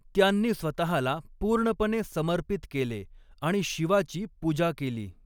त्यांनी स्वतःला पूर्णपणे समर्पित केले आणि शिवाची पूजा केली.